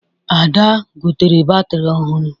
Ada gotere batrị ọhụrụ